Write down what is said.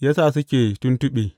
ya sa suke tuntuɓe.